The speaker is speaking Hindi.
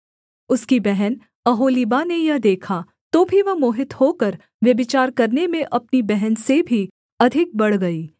उसकी बहन ओहोलीबा ने यह देखा तो भी वह मोहित होकर व्यभिचार करने में अपनी बहन से भी अधिक बढ़ गई